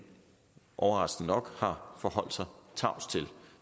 overraskende nok har forholdt sig tavs til og